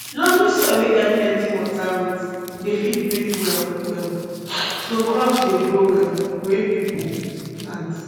loamy soil wey get plenti water roots dey fit breathe well well um so crops dey grow well wey people plant